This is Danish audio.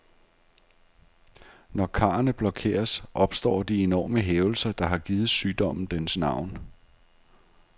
Når karrene blokeres, opstår de enorme hævelser, der har givet sygdommen dens navn.